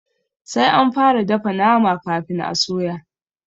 Sai anfara dafa nama kafin a soya.